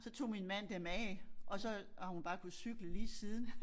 Så tog min mand dem af og så har hun bare kunnet cykle lige siden